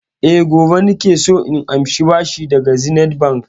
E, gobe nake so na amshi bashi daga Zenith Bank.